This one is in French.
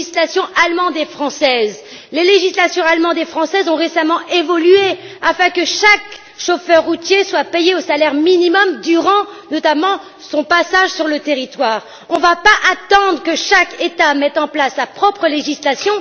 Les législations allemande et française ont récemment évolué de manière à ce que chaque chauffeur routier soit payé au salaire minimum durant, notamment, son passage sur le territoire. Il n'est pas question d'attendre que chaque État mette en place sa propre législation.